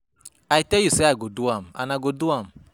I tell you say I go do am and I go do am